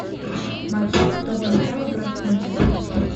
матч тоттенхэма против манчестера